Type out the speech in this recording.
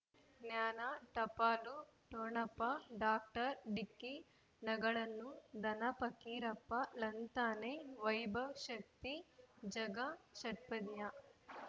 ಜ್ಞಾನ ಟಪಾಲು ಠೊಣಪ ಡಾಕ್ಟರ್ ಢಿಕ್ಕಿ ಣಗಳನು ಧನ ಫಕೀರಪ್ಪ ಳಂತಾನೆ ವೈಭವ್ ಶಕ್ತಿ ಝಗಾ ಷಟ್ಪದಿಯ